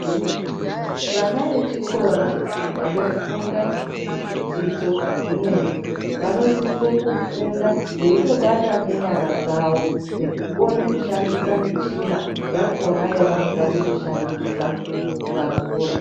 Vana vechikora vanofunda zvidzidzo zvimweni vanosise kufunda veitobata ngenyara dzao nekukone kushandisa michinayakona yavanoda kuzoshandisa vakura.